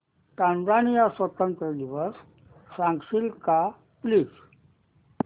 Tanzania स्वतंत्रता दिवस सांगशील का प्लीज